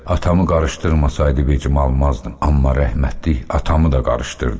Atamı qarışdırmasaydı vecimə almazdım, amma rəhmətlik atamı da qarışdırdı.